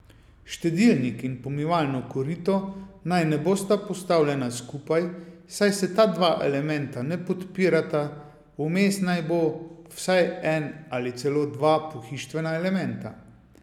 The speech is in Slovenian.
Štedilnik in pomivalno korito naj ne bosta postavljena skupaj, saj se ta dva elementa ne podpirata, vmes naj bo vsaj en ali celo dva pohištvena elementa.